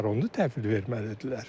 Onu təhvil verməlidirlər.